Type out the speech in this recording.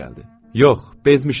Yox, bezmişəm.